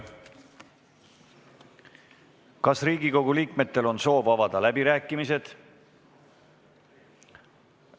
Kas Riigikogu liikmetel on soov avada läbirääkimised?